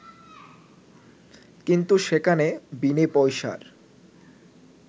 কিন্তু সেখানে বিনে পয়সার